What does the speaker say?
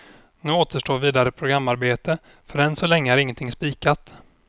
Nu återstår vidare programarbete, för än så länge är ingenting spikat.